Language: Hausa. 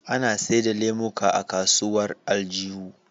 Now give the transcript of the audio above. Ana seda lemuka a kasuwar aljihu